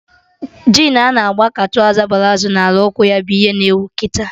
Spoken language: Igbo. Jin a na-gba ka trọza palazo na ala ụkwụ ya bụ ihe na ewu kịta